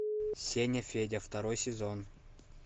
сеня федя второй сезон